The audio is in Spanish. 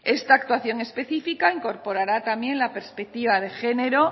esta actuación específica incorporará también la perspectiva de género